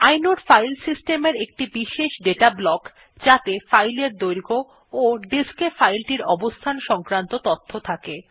inode file system এর একটি বিশেষ দাতা ব্লক যাত়ে ফাইলের দৈর্ঘ্য ও ডিস্ক এ ফাইল টির অবস্থান সংক্রান্ত তথ্য থাকে